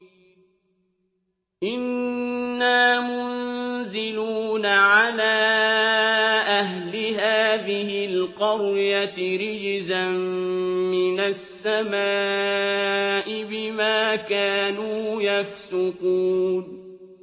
إِنَّا مُنزِلُونَ عَلَىٰ أَهْلِ هَٰذِهِ الْقَرْيَةِ رِجْزًا مِّنَ السَّمَاءِ بِمَا كَانُوا يَفْسُقُونَ